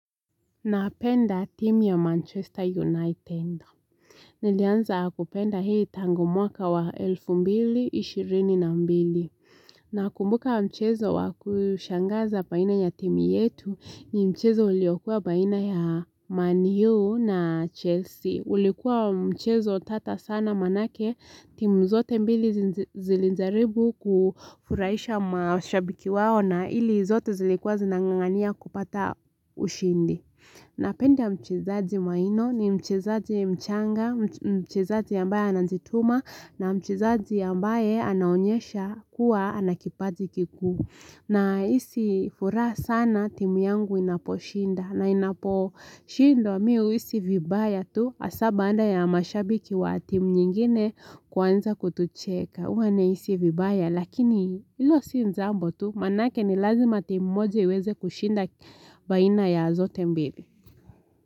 Napenda timu ya Manchester United. Nilianza kupenda hii tangu mwaka wa elfu mbili, ishirini na mbili. Nakumbuka mchezo wa kushangaza baina ya timu yetu ni mchezo uliokua baina ya Man U na Chelsea. Ulikuwa mchezo tata sana maanake, timu zote mbili zilijaribu kufurahisha mashabiki wao na ili zote zilikuwa zinangangania kupata ushindi. Napenda mchezaji maino ni mchezaji mchanga, mchezaji ambaye anajituma na mchezaji ambaye anaonyesha kuwa ana kipaji kikuu. Nahisi furaha sana timu yangu inaposhinda na inaposhindwa mimi huhisi vibaya tu hasa baada ya mashabiki wa timu nyingine kuanza kutucheka. Huwa nahisi vibaya lakini hilo si jambo tu maanake ni lazima timu moja iweze kushinda baina ya zote mbili.